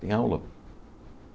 Tem aula.